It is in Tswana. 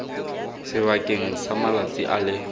sebakeng sa malatsi a le